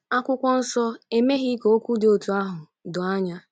Akwụkwọ Nsọ emeghị ka okwu dị otú ahụ doo anya.